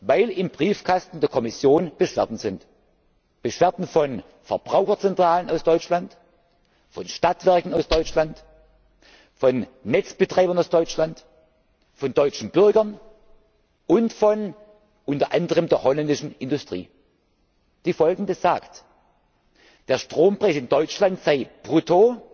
Weil im Briefkasten der Kommission Beschwerden vorliegen Beschwerden von Verbraucherzentralen aus Deutschland, von Stadtwerken aus Deutschland, von Netzbetreibern aus Deutschland, von deutschen Bürgern und unter anderem von der niederländischen Industrie, die sagt, der Strompreis in Deutschland sei